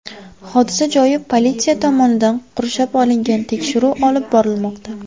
Hodisa joyi politsiya tomonidan qurshab olingan, tekshiruv olib borilmoqda.